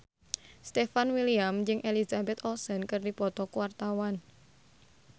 Stefan William jeung Elizabeth Olsen keur dipoto ku wartawan